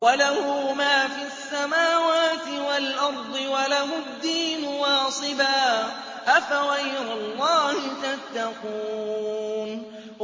وَلَهُ مَا فِي السَّمَاوَاتِ وَالْأَرْضِ وَلَهُ الدِّينُ وَاصِبًا ۚ أَفَغَيْرَ اللَّهِ تَتَّقُونَ